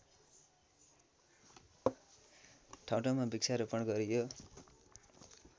ठाउँठाउँमा वृक्षारोपण गरियो